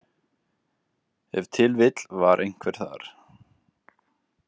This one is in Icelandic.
Ef til vill var einhver þar.